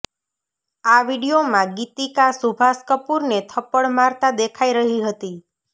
આ વીડિયોમાં ગીતિકા સુભાષ કપૂરને થપ્પડ મારતા દેખાઈ રહી હતી